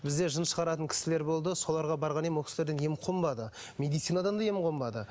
бізде жын шығаратын кісілер болды соларға барған едім ол кісілерден ем қонбады медицинадан да ем қонбады